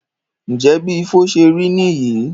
Njẹ bí Ifo ṣé rí níyì?